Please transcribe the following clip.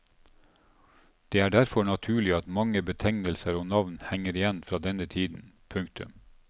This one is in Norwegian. Det er derfor naturlig at mange betegnelser og navn henger igjen fra denne tiden. punktum